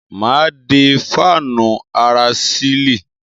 Mà á dé fáànù ara sílì.